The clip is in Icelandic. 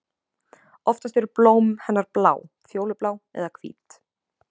Oftast eru blóm hennar blá, fjólublá eða hvít.